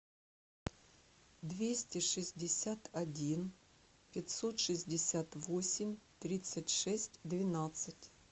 двести шестьдесят один пятьсот шестьдесят восемь тридцать шесть двенадцать